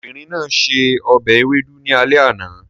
Obìnrin náà se ọbẹ̀ ewedu ní alẹ́ àná